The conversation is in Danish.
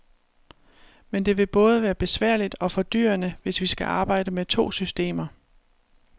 Men det vil både være besværligt og fordyrende, hvis vi skal arbejde med to systemer.